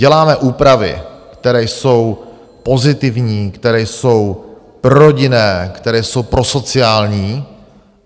Děláme úpravy, které jsou pozitivní, které jsou prorodinné, které jsou prosociální.